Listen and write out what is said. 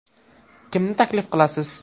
Kimni taklif qilasiz?